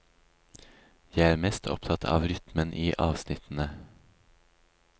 Jeg er mest opptatt av rytmen i avsnittene.